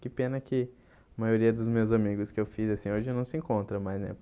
Que pena que a maioria dos meus amigos que eu fiz, assim, hoje não se encontra mais, né?